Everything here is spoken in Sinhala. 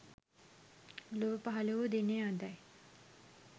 ලොව පහළ වූ දිනය අදයි.